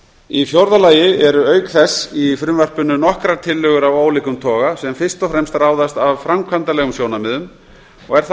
í fjórða lagi eru auk þess í frumvarpinu nokkrar tillögur af ólíkum toga sem fyrst og fremst ráðast af framkvæmdalegum sjónarmiðum og er þá átt